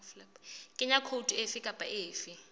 kenya khoutu efe kapa efe